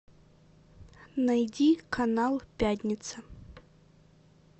найди канал пятница